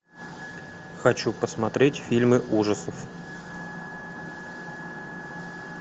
хочу посмотреть фильмы ужасов